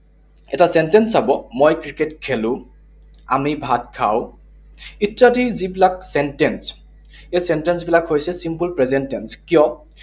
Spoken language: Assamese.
এটা sentence চাব, মই ক্ৰিকেট খেলো, আমি ভাত খাওঁ ইত্যাদি যিবিলাক sentence, এই sentence বিলাক হৈছে simple present tense, কিয়